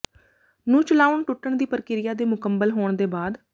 ਨੂੰ ਚਲਾਉਣ ਟੁੱਟਣ ਦੀ ਪ੍ਰਕਿਰਿਆ ਦੇ ਮੁਕੰਮਲ ਹੋਣ ਦੇ ਬਾਅਦ